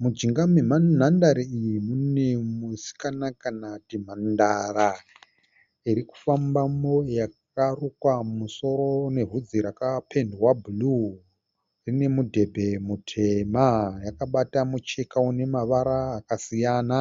Mujinga menhandare iyi mune musikana kana kuti mhandara irikufambamo yakarukwa musoro nevhudzi rakapendwa bhuruu, inemudhebhe mutema yakabata mucheka unemavara akasiyana.